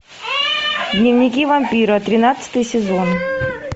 дневники вампира тринадцатый сезон